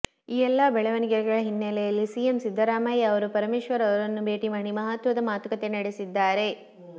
ಈ ಎಲ್ಲಾ ಬೆಳವಣಿಗೆಗಳ ಹಿನ್ನಲೆಯಲ್ಲಿ ಸಿಎಂ ಸಿದ್ದರಾಮಯ್ಯ ಅವರು ಪರಮೇಶ್ವರ ಅವರನ್ನು ಭೇಟಿ ಮಾಡಿ ಮಹತ್ವದ ಮಾತುಕತೆ ನಡೆಸಿದ್ದಾರೆ